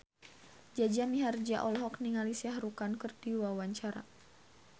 Jaja Mihardja olohok ningali Shah Rukh Khan keur diwawancara